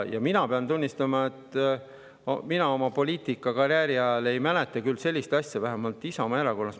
Ma pean tunnistama, et mina oma poliitikakarjääri ajast ei mäleta küll sellist asja vähemalt Isamaa Erakonnas.